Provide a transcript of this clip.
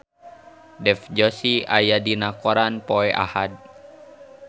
Dev Joshi aya dina koran poe Ahad